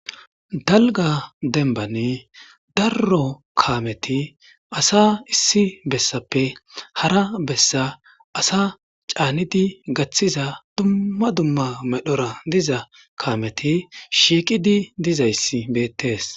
dalga denbane darro kaameti asa issi bessappe hara bessa asa caanidi gaththiza dumma dumma medhora diza kaameti shiiqidi dizayssi beettes